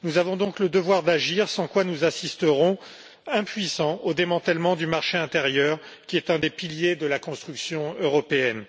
Nous avons donc le devoir d'agir, sans quoi nous assisterons, impuissants, au démantèlement du marché intérieur, qui est un des piliers de la construction européenne.